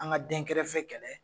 An ka den kɛrɛfɛ kɛlɛ.